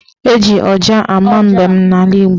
Eji ọja ama mbem n'ala Igbo.